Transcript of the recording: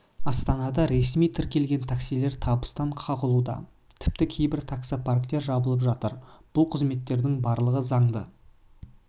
астанада ресми тіркелген таксилер табыстан қағылуда тіпті кейбір таксо парктер жабылып жатыр бұл қызметтердің барлығы заңды